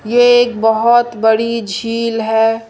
ये एक बहोत बड़ी झील है।